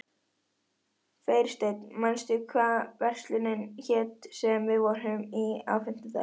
Freysteinn, manstu hvað verslunin hét sem við fórum í á fimmtudaginn?